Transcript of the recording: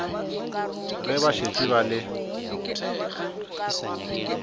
ge ba šetše ba le